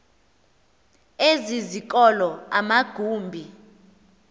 ezi zikolo amagumbi